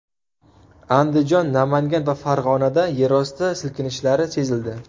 Andijon, Namangan va Farg‘onada yerosti silkinishlari sezildi.